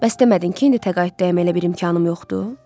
Bəs demədin ki, indi təqaüddəyəm, elə bir imkanım yoxdur?